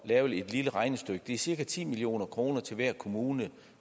at lave et lille regnestykke det er cirka ti million kroner til hver kommune